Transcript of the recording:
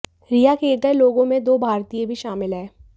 रिहा किए गए लोगों में दो भारतीय भी शामिल हैं